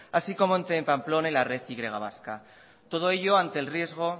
así como entre pamplona y la red y vasca todo ello ante el riesgo